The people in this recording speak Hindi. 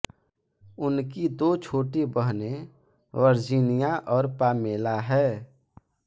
उनकी दो छोटी बहनें वर्जीनिया और पामेला है